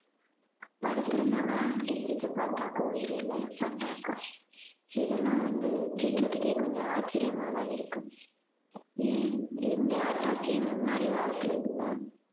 படுத்திருந்தார்களாம் எழுந்திருச்சு பார்த்தாக்கா உயிர் இல்லையாம் attack ஆ இதெல்லாம் வந்து கேக்குறதுக்கே கொஞ்சம் ஆச்சரியமா தான் இருக்கு ஏன் இந்த attack ஏன் முன்னாடி காலத்துல இல்ல